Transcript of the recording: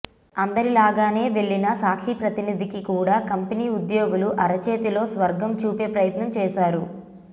అందరిలాగానే వెళ్లిన సాక్షి ప్రతినిధికి కూడా కంపెనీ ఉద్యోగులు అరచేతిలో స్వర్గం చూపే ప్రయత్నం చేశారు